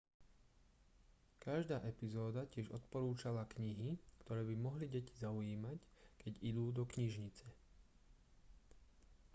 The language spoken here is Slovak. každá epizóda tiež odporúčala knihy ktoré by mohli deti zaujímať keď idú do knižnice